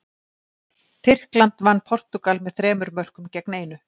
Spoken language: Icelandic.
Tyrkland vann Portúgal með þremur mörkum gegn einu.